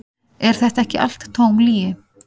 Er þetta ekki allt tóm lygi?